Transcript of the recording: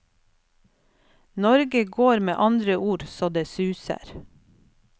Norge går med andre ord så det suser.